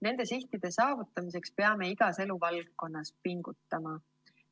Nende sihtide saavutamiseks peame igas eluvaldkonnas pingutama.